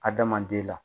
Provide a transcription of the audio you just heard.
Adamaden la